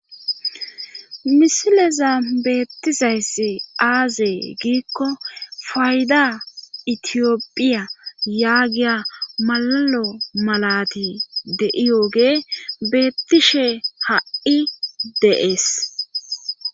Misileza beettizayssi aazee giikko fayda itiyopphiya yaagiya malalo malati deiyooge beettishe ha'i dees..